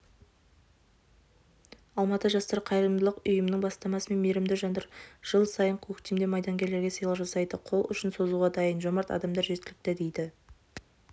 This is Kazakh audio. алматы жастар қайырымдылық ұйымының бастамасымен мейірімді жандар жыл сайын көктемде майдангерлерге сыйлық жасайды қол ұшын созуға дайын жомарт адамдар жеткілікті дейді